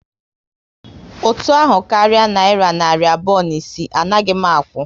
Ụtụ ahụ karịa nayira narị abụọ na isii, anaghị m akwụ